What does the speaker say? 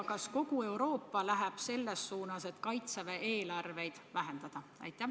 Kas kogu Euroopa läheb selles suunas, et kaitsevägede eelarveid vähendada?